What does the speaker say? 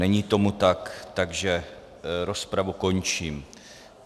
Není tomu tak, takže rozpravu končím.